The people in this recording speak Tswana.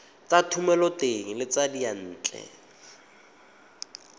tsa thomeloteng le tsa diyantle